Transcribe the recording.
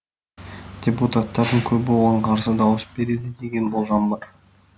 депутаттардың көбі оған қарсы дауыс береді деген болжам бар